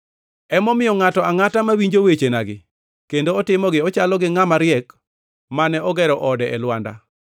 “Emomiyo ngʼato angʼata mawinjo wechenagi kendo otimogi chalo gi ngʼama riek mane ogero ode e lwanda.